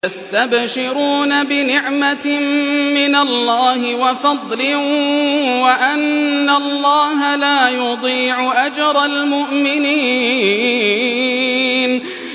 ۞ يَسْتَبْشِرُونَ بِنِعْمَةٍ مِّنَ اللَّهِ وَفَضْلٍ وَأَنَّ اللَّهَ لَا يُضِيعُ أَجْرَ الْمُؤْمِنِينَ